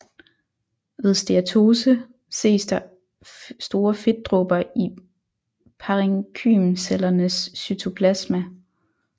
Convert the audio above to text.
Ved Steatose ses der store fedtdråber i parenkymcellernes cytoplasma